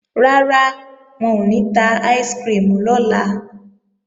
Rárá, wọn ò ní ta áìsikirimù lọ́la